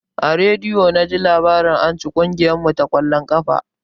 A rediyo naji labarin anci kugiyar mu ta ƙwallon ƙafa.